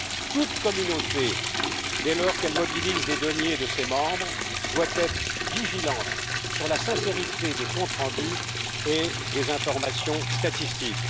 Toute communauté, dès lors qu'elle mobilise les deniers de ses membres, doit être vigilante sur la sincérité des comptes rendus et des informations statistiques.